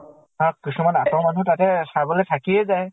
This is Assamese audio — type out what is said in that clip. আৰু কিছুমানে আতৰৰ মানুহ তাতে চাবলৈ থাকিয়ে যায়।